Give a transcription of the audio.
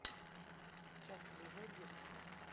счастливое детство